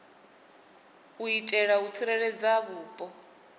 u itela u tsireledza vhupo